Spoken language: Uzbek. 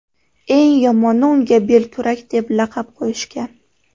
Eng yomoni unga belkurak deb laqab qo‘yishgan.